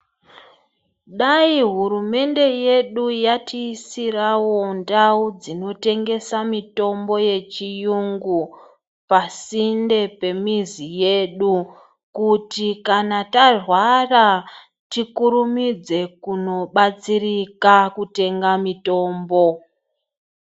Dai hurumende yedu yati isirawo ndau dzino tengesa mitombo ye chiyungu pasinde pe mizi yedu kuti kana tarwara tikurumidze kuno batsirika kutenga mitombo.